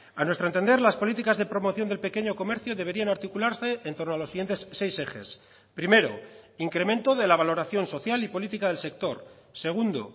a nuestro entender las políticas de promoción del pequeño comercio deberían articularse en torno a los siguientes seis ejes primero incremento de la valoración social y política del sector segundo